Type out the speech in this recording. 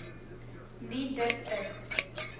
nie dit is